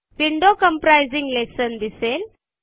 window comprising lesson दिसेल